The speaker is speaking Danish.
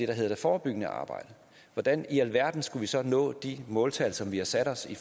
der hedder det forebyggende arbejde hvordan i alverden skulle vi så kunne nå de måltal som vi har sat os i